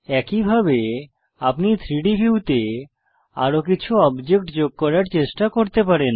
একইভাবে আপনি 3ডি ভিউতে আরো কিছু অবজেক্ট যোগ করার চেষ্টা করতে পারেন